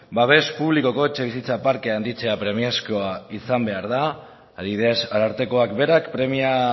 babes publikoko etxebizitza parkea handitzea premiazkoa izan behar da adibidez arartekoak berak premia